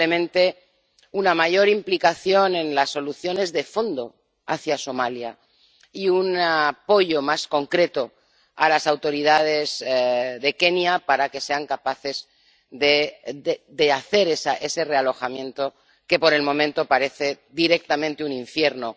Probablemente una mayor implicación en las soluciones de fondo hacia Somalia, y un apoyo más concreto a las autoridades de Kenia para que sean capaces de hacer ese realojamiento que, por el momento, parece directamente un infierno.